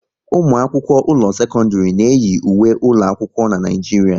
Ụmụ akwụkwọ ụlọ sekọndrị na eyi ùwé ụlọ akwụkwọ n'Naijiria